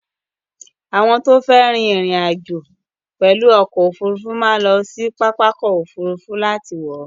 Àwọn tó fẹ́ ri ìrìn-àjò pẹ̀lú ọkọ òfurufú máa ń lọ sí pápákọ̀-òfurufú láti wọ̀ ọ́.